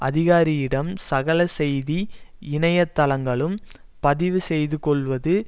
அதிகாரியிடம் சகல செய்தி இணைய தளங்களும் பதிவு செய்து கொள்வது